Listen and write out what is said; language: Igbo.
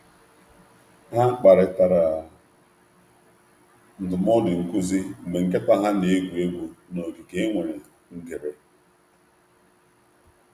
Ha kparịtara ndụmọdụ nkuzi mgbe nkịta ha na-egwu egwu n’ogige e nwere ngere.